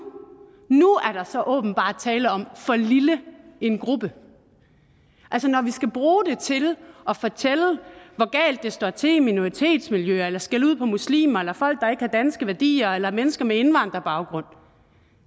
er der så åbenbart tale om for lille en gruppe altså når vi skal bruge det til at fortælle hvor galt det står til i minoritetsmiljøer eller skælde ud på muslimer eller folk der ikke har danske værdier eller mennesker med indvandrerbaggrund